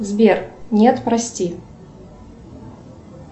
сбер нет прости